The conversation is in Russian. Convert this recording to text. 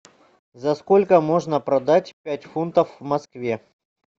за сколько можно продать пять фунтов в москве